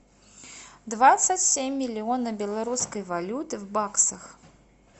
двадцать семь миллиона белорусской валюты в баксах